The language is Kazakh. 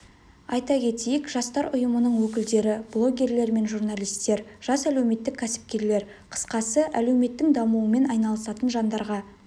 айта кетейік жастар ұйымының өкілдері блогерлер мен журналистер жас әлеуметтік кәсіпкерлер қысқасы әлеуметтің дамуымен айналысатын жандарға